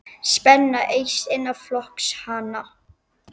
Spenna eykst innan flokks hans.